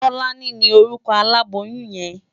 Tolani ni órúkò àlábóyùn yèn